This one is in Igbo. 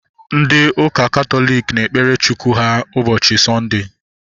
Ndị ụka Katọlik na-ekpere Chukwu ha ụbọchị Sọnde